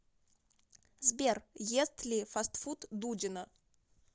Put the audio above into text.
сбер ест ли фастфуд дудина